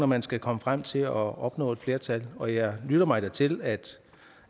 man skal komme frem til at opnå et flertal og jeg lytter mig da til